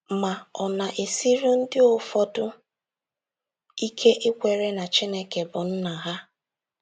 Ma, ọ na - esiri ndị ụfọdụ ike ikwere na Chineke bụ Nna ha.